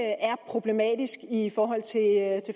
problematisk i forhold til